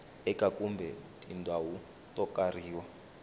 eka kumbe tindhawu to karhi